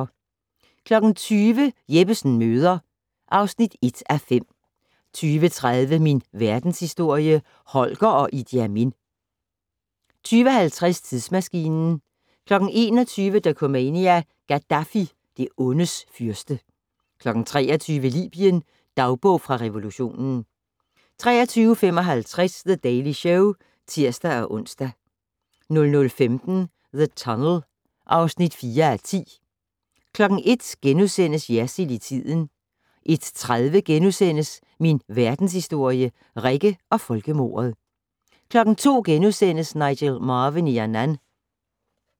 20:00: Jeppesen møder (1:5) 20:30: Min verdenshistorie - Holger og Idi Amin 20:50: Tidsmaskinen 21:00: Dokumania: Gaddafi - det ondes fyrste 23:00: Libyen - dagbog fra revolutionen 23:55: The Daily Show (tir-ons) 00:15: The Tunnel (4:10) 01:00: Jersild i tiden * 01:30: Min verdenshistorie - Rikke og folkemordet * 02:00: Nigel Marven i Yannan *